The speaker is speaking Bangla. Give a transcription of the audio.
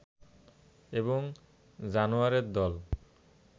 এবং জানোয়ারের দল